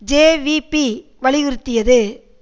JVP வலியுறுத்தியது